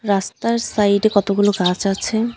রাস্তার সাইডে কতগুলো গাছ আছে .